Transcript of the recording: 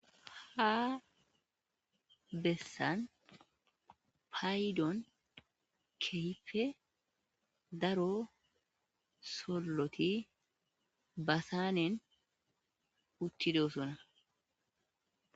Ha besani payiddoni kehippe daro solootidi ba sanneeni uttidosona